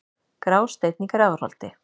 Grásteinn í Grafarholti